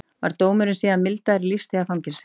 Var dómurinn síðan mildaður í lífstíðarfangelsi